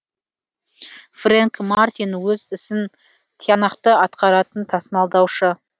френк мартин өз ісін тиянақты атқаратын тасымалдаушы